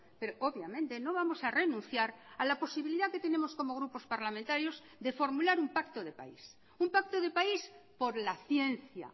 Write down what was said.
pero obviamente no vamos a renunciar a la posibilidad que tenemos como grupos parlamentarios de formular un pacto de país un pacto de país por la ciencia